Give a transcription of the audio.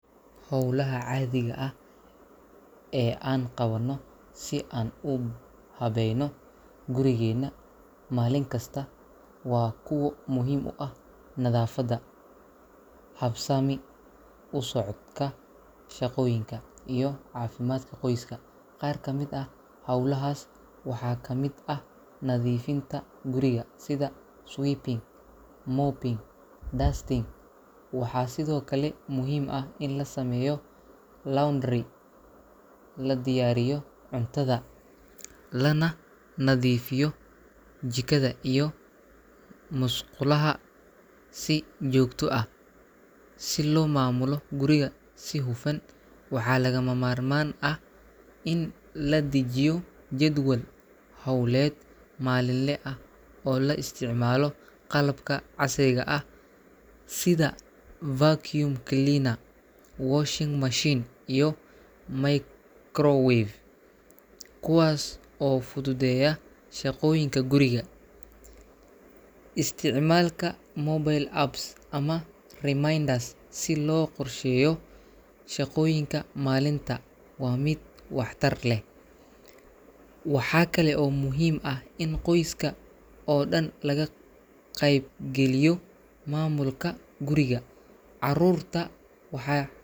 Hawlaha caadiga ah ee aan qabanno si aan u habeeyno gurigeena maalinkasta waa kuwo muhiim u ah nadaafadda, habsami u socodka shaqooyinka, iyo caafimaadka qoyska. Qaar kamid ah hawlahaas waxaa ka mid ah nadiifinta guriga sida sweeping, mopping, iyo dusting. Waxaa sidoo kale muhiim ah in la sameeyo laundry, la diyaariyo cuntada, lana nadiifiyo jikada iyo musqulaha si joogto ah. Si loo maamulo guriga si hufan, waxaa lagama maarmaan ah in la dejiyo jadwal hawleed maalinle ah oo la isticmaalo qalabka casriga ah sida vacuum cleaner, washing machine, iyo microwave, kuwaas oo fududeeya shaqooyinka guriga. Isticmaalka mobile apps ama reminders si loo qorsheeyo shaqooyinka maalinta waa mid waxtar leh. Waxaa kale oo muhiim ah in qoyska oo dhan laga qayb geliyo maamulka guriga — carruurta wax.